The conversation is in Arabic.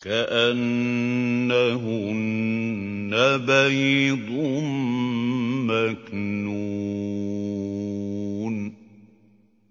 كَأَنَّهُنَّ بَيْضٌ مَّكْنُونٌ